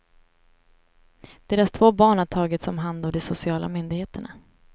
Deras två barn har tagits om hand av de sociala myndigheterna.